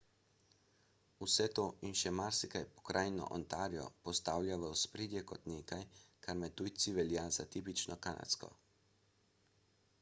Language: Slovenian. vse to in še marsikaj pokrajino ontario postavlja v ospredje kot nekaj kar med tujci velja za tipično kanadsko